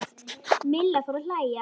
Milla fór að hlæja.